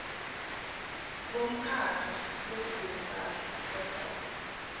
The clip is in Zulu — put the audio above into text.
bomkhakha wezempahla property